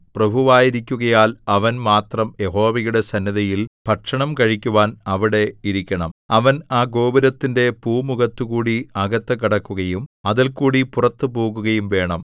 പ്രഭുവായിരിക്കുകയാൽ അവൻ മാത്രം യഹോവയുടെ സന്നിധിയിൽ ഭക്ഷണം കഴിക്കുവാൻ അവിടെ ഇരിക്കണം അവൻ ആ ഗോപുരത്തിന്റെ പൂമുഖത്തുകൂടി അകത്ത് കടക്കുകയും അതിൽകൂടി പുറത്തു പോകുകയും വേണം